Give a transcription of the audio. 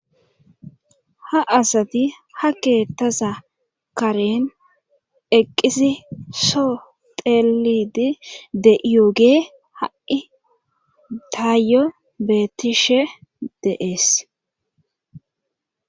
Ha asati ha keettasa karen eqqisi soo teelidi de iyoogee ha,i daayyo beetishe deees.